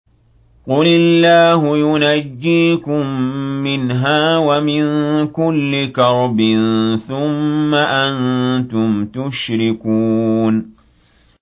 قُلِ اللَّهُ يُنَجِّيكُم مِّنْهَا وَمِن كُلِّ كَرْبٍ ثُمَّ أَنتُمْ تُشْرِكُونَ